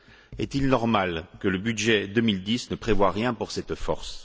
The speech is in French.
Est il normal que le budget 2010 ne prévoit rien pour cette force?